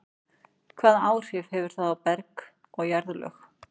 Hvaða áhrif hefur það á berg og jarðlög?